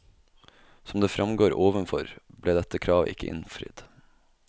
Som det fremgår overfor, ble dette kravet ikke innfridd.